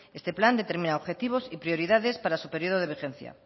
este plan determina objetivos y prioridades para su periodo de vigencia